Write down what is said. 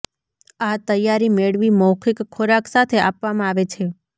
આ તૈયારી મેળવી મૌખિક ખોરાક સાથે આપવામાં આવે છે